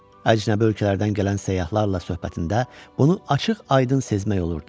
Əcnəbi ölkələrdən gələn səyyahlarla söhbətində bunu açıq-aydın sezmək olurdu.